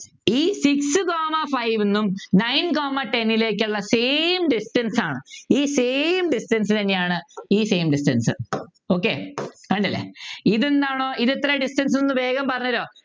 ഈ Six comma five ന്നും Nine comma ten ലേക്കുള്ള Same distance ആണ് ഈ Same distance തന്നെയാണ് ഈ Same distance okay അതുണ്ടല്ലേ ഇതെന്താണ് ഇതെത്ര distance ന്നു വേഗം പറഞ്ഞു തരുമോ